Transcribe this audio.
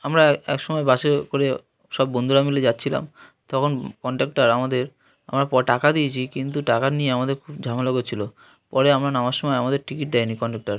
আমরা এক সময় বাসে করে সব বন্ধুরা মিলে যাচ্ছিলাম তখন কনডাক্টর আমাদের আমরা টাকা দিয়েছি কিন্তু টাকা নিয়ে আমাদের খুব ঝামেলা করছিল পরে আমরা নামার সময় আমাদের টিকিট দেয়নি কনডাক্টর ।